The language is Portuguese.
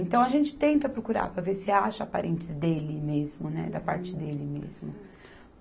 Então a gente tenta procurar para ver se acha parentes dele mesmo, né, da parte dele mesmo.